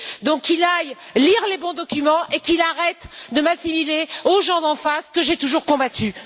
Donc qu'il aille lire les bons documents, et qu'il arrête de m'assimiler aux gens d'en face que j'ai toujours combattus.